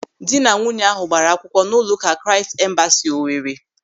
Ndịnanwunye ahụ gbaara akwụkwọ n'ụlọụka Kraịst Embasị Owere.